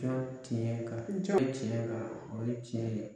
To tiɲɛ kan, kɛ tiɲɛ kan, o ye tiɲɛ ye.